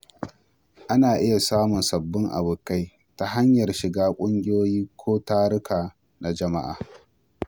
Ana iya samun sababbin abokai ta hanyar shiga ƙungiyoyi ko taruka na jama'a.